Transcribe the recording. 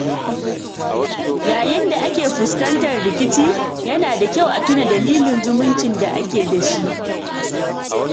Yayin da ake fuskantar rikici, yana da kyau a tuna dalilin zumuncin da ake da shi.